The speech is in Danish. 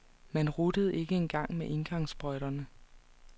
Man ruttede ikke dengang med engangssprøjter.